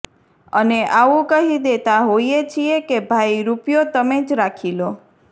અને આવું કહી દેતા હોઈએ છીએ કે ભાઈ રૂપિયો તમે જ રાખી લો